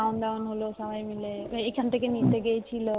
খাওন দাওন হলো বাড়িতে সব এখন থেকে নিতে গিয়েছিলো